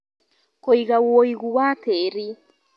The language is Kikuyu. Kũiga woigũ wa tĩri